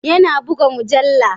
Yana buga mujallu.